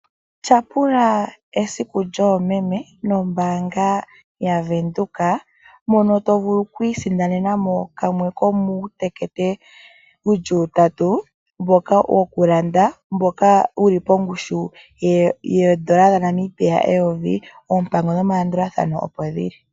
Tyapula esiku lyoomeme nombaanga yaVenduka, mono to vulu oku isindanena mo kamwe ko muutekete wuli utatu mboka woku landa. Mboka wuli pongushu yoondola dha Namibia eyovi, oompango nomalandulathano opo dhili.